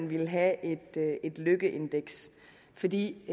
ville have et lykkeindeks fordi